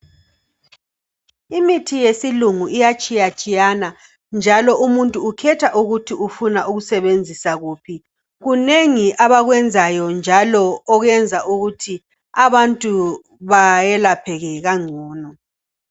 Imithi yesilungu iyatshiya-tshiyana njalo umuntu ukhetha ukuthi ufuna ukusebenzisa wuphi kunengi abakwenzayo njalo okuyenza ukuthi abantu bayelapheke kangcono.